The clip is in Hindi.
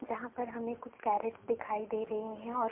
जहां पर हमें कुछ कैरेट्स दिखाई दे रही है और --